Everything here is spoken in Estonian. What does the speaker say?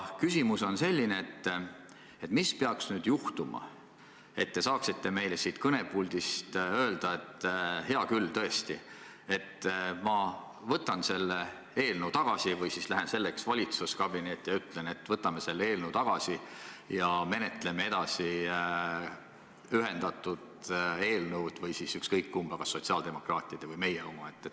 Küsimus on selline: mis peaks nüüd juhtuma, et te saaksite meile siit kõnepuldist öelda, et hea küll, tõesti, ma võtan selle eelnõu tagasi või lähen valitsuskabinetti ja ütlen, et võtame selle eelnõu tagasi ja menetleme edasi ühendatud eelnõu või ükskõik kumba, kas sotsiaaldemokraatide või Reformierakonna oma?